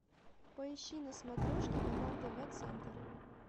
поищи на смотрешке канал тв центр